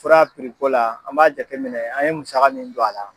Fura la an b'a jateminɛ an ye musaka min don a la.